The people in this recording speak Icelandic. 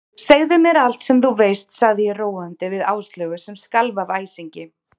Segðu mér allt sem þú veist sagði ég róandi við Áslaugu sem skalf af æsingi.